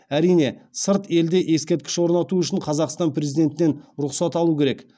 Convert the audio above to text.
әрине сырт елде ескерткіш орнату үшін қазақстан президентінен рұқсат алу керек